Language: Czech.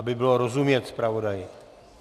Aby bylo rozumět zpravodaji.